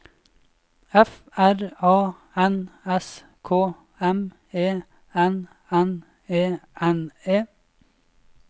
F R A N S K M E N N E N E